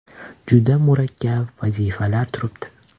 Juda murakkab vazifalar turibdi.